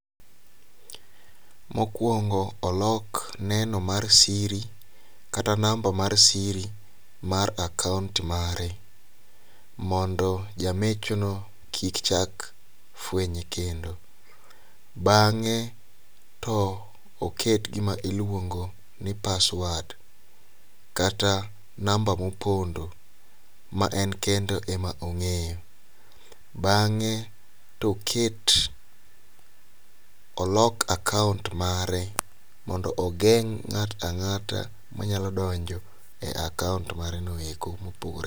Mokwongo olok neno mar siri kata namba mar siri mar akount mare. Mondo jamecho no kik chak fwenye kendo. Bang'e, to oket gima iluongo ni password, kata namba mopondo ma en kende ema ong'eyo. Bang'e, to oket olok akount mare mondo ogeng' ng'at ang'ata manyalo donjo e akount mare no eko.